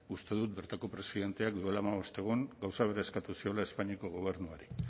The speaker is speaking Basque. uste dut bertako presidenteak duela hamabost egun gauza bera eskatu ziola espainiako gobernuari